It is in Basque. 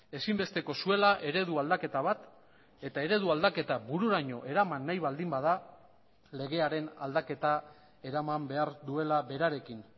ezinbesteko zuela eredu aldaketa bat eta eredu aldaketa bururaino eraman nahi baldin bada legearen aldaketa eraman behar duela berarekin